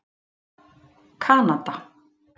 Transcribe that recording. Kanada